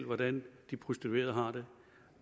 hvordan de prostituerede har det